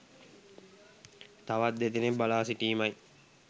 තවත් දෙදෙනෙක් බලා සිටීමයි.